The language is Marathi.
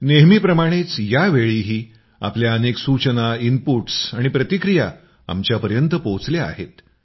नेहमीप्रमाणेच यावेळीही आपल्या अनेक सूचना इनपुट्स आणि प्रतिक्रिया आमच्यापर्यंत पोहोचल्या आहेत